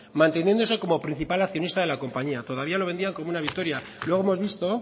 manteniéndose como principal accionista de la compañía todavía lo vendían como una victoria luego hemos visto